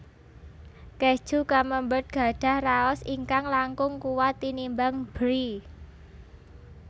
Kèju Camembert gadhah raos ingkang langkung kuwat tinimbang Brie